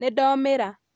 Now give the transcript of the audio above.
Nĩndomĩra